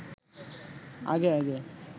আগে আগে